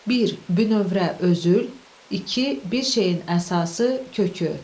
Bir, bünövrə, özül, iki, bir şeyin əsası, kökü.